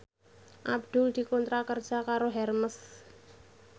Abdul dikontrak kerja karo Hermes